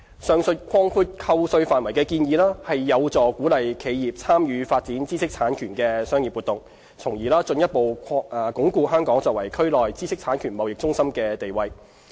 上述擴闊扣稅範圍的建議，有助鼓勵企業參與發展知識產權的商業活動，從而進一步鞏固香港作為區內知識產權貿易中心的地位。